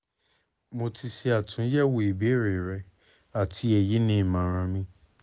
mo ti ṣe atunyẹwo ibeere rẹ ati eyi ni imọran mi